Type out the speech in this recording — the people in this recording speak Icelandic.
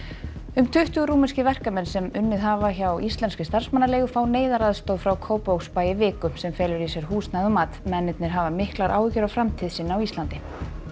um tuttugu rúmenskir verkamenn sem unnið hafa hjá íslenskri starfsmannaleigu fá neyðaraðstoð frá Kópavogsbæ í viku sem felur í sér húsnæði og mat mennirnir hafa miklar áhyggur af framtíð sinni á Íslandi